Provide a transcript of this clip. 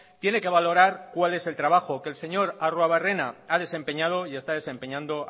tiene que valorar cuál es el trabajo que el señor arruebarrena ha desempeñado y está desempeñando